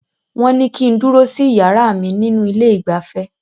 Wọ́n ní kí n dúró sí iyàrá mí nínú ilé ìgbafẹ́.